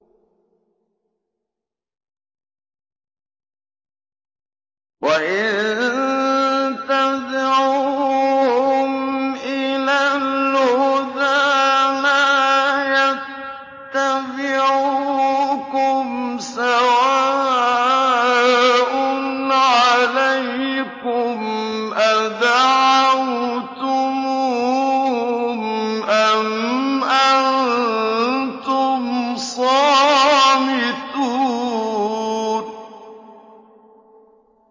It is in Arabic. وَإِن تَدْعُوهُمْ إِلَى الْهُدَىٰ لَا يَتَّبِعُوكُمْ ۚ سَوَاءٌ عَلَيْكُمْ أَدَعَوْتُمُوهُمْ أَمْ أَنتُمْ صَامِتُونَ